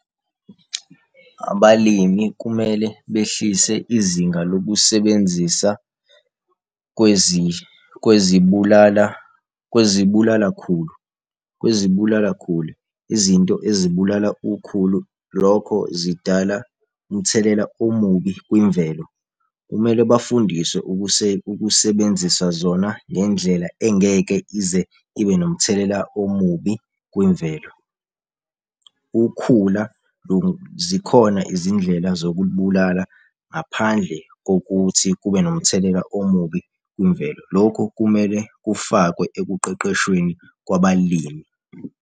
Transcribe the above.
Abalimi kumele behlise izinga lokusebenzisa kwezibulala kwezibulalakhulu kwezibulalakhulu izinto izibulala ukhulu, lokho zidala umthelela omubi kwimvelo. Kumele bafundiswe ukusebenzisa zona ngendlela engeke ize ibe nomthelela omubi kwimvelo. Ukhula zikhona izindlela zokubulala ngaphandle kokuthi kube nomthelela omubi kwimvelo. Lokhu kumele kufakwe ekuqeqeshweni kwabalimi.